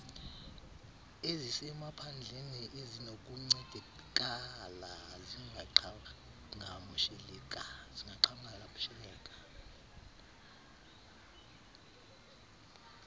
ezisemaphandleni ezinokuncedakala zingaqhagamsheleka